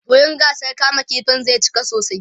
wurin gasar kama ƙifin zai cika sosai